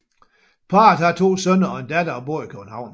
Parret har to sønner og en datter og bor i København